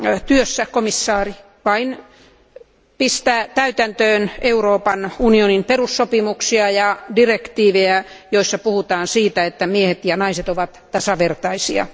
työssä komissaari vain panee täytäntöön Euroopan unionin perussopimuksia ja direktiivejä, joissa puhutaan siitä, että miehet ja naiset ovat tasavertaisia.